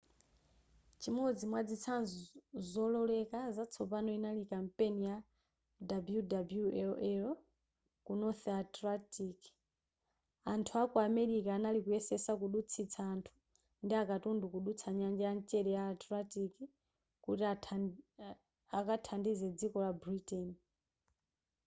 chimodzi mwazitsanzo zolozeka zatsopano inali kampeni ya wwii ku north atlantic anthu aku amerika anali kuyesesa kudutsitsa anthu ndi akatundu kudutsa nyanja ya mchere ya atlantic kuti akathandize dziko la britain